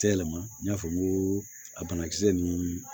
Yɛlɛma n y'a fɔ n ko a banakisɛ ninnu